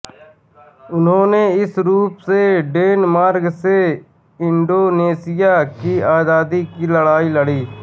उन्होंने इस रूप में डेनमार्क से इंडोनेशिया की आजादी की लड़ाई लड़ी